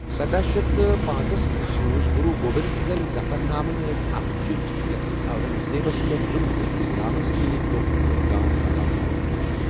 سداہ شیتھ پانژس منٛز سوُز گروُ گوبند سنگھن ظفرنامہ ناوٕی اکھ چِٹھۍ یتھ منٛز اورنگ زیبس پٮ۪ٹھ ظُلم تہٕ اسلامس سۭتہِ دھوکک الزام لگاونہٕ آمُت اوس